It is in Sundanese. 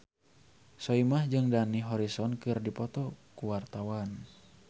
Soimah jeung Dani Harrison keur dipoto ku wartawan